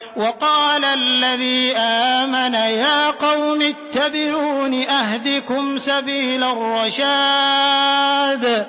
وَقَالَ الَّذِي آمَنَ يَا قَوْمِ اتَّبِعُونِ أَهْدِكُمْ سَبِيلَ الرَّشَادِ